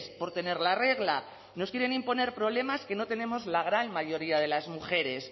por tener la regla nos quieren imponer problemas que no tenemos la gran mayoría de las mujeres